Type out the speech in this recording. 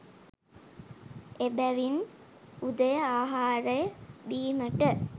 එබැවින් උදය ආහාරය බීමට